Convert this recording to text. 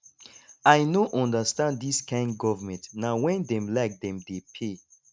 i no understand dis kain government na wen dem like dem dey pay